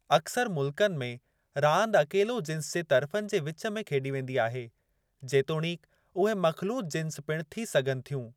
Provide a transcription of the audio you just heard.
अक्सर मुल्कनि में, रांदि अकेलो जिन्स जे तर्फ़नि जे विचु में खेॾी वेंदी आहे, जेतोणीकि उहे मख़लूत जिन्स पिण थी सघनि थियूं।